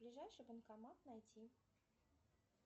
ближайший банкомат найти